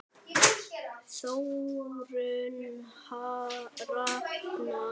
Þórunn Rafnar.